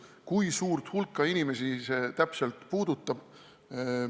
Kui suurt hulka inimesi see täpselt puudutab?